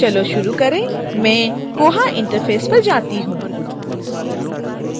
चलो शुरू करें मैं koha interface पर जाती हूँ